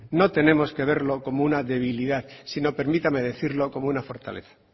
no tenemos que verlo como una debilidad sino permítame decirlo como una fortaleza